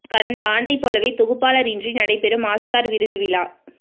கடந்த ஆண்டை போலவே தொகுப்பாளர் இன்றி நடைபெறும் ஆஸ்கார் விருது விழா